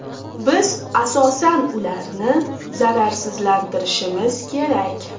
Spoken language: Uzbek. Biz asosan ularni zararsizlantirishimiz kerak.